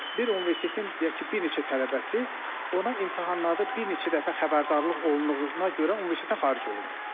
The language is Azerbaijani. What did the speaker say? Bir universitetin, deyək ki, bir neçə tələbəsi ona imtahanlarda bir neçə dəfə xəbərdarlıq olunduğuna görə universitetdən xaric olundu.